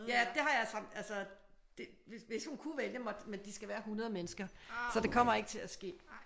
Ja det har jeg så altså det hvis hun kunne vælge men de skal være 100 mennesker så det kommer ikke til at ske